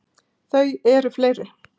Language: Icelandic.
Þau eru fleiri.